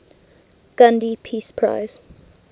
gandhi peace prize